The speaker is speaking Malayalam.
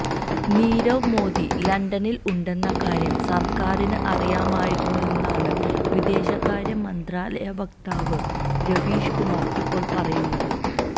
നീരവ് മോദി ലണ്ടനിൽ ഉണ്ടെന്ന കാര്യം സർക്കാറിന് അറിയാമായിരുന്നെന്നാണ് വിദേശകാര്യ മന്ത്രാലയ വക്താവ് രവീഷ് കുമാർ ഇപ്പോൾ പറയുന്നത്